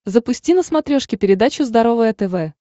запусти на смотрешке передачу здоровое тв